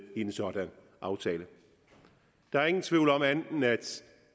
i en sådan aftale der er ingen tvivl om at